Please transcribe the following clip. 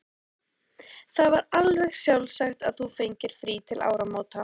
Það var alveg sjálfsagt að þú fengir frí til áramóta.